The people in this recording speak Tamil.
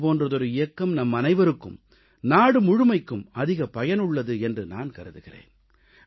இது போன்றதொரு இயக்கம் நம்மனைவருக்கும் நாடு முழுமைக்கும் அதிக பயனுள்ளது என்று நான் கருதுகிறேன்